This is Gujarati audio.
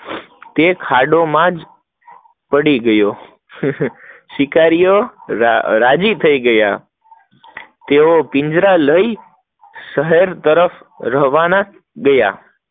તે જ ખાંડ માં પડી ગયો, શિકારીઓ રાજી થઇ ગયા, તેઓ પિંજરા લઇ શહેર તરફ રાવણ થયા